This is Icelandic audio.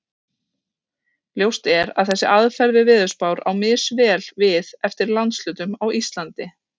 Ljóst er að þessi aðferð við veðurspár á misvel við eftir landshlutum á Íslandi.